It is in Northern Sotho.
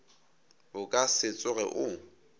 o ka se tsoge o